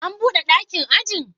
An bude dakin ajin?